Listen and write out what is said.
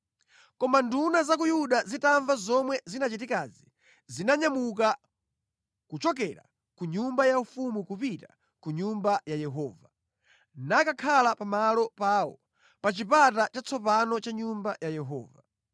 Koma nduna za ku Yuda zitamva zomwe zinachitikazi, zinanyamuka kuchokera ku nyumba yaufumu kupita ku Nyumba ya Yehova, nakakhala pamalo pawo, pa Chipata Chatsopano cha Nyumba ya Yehova.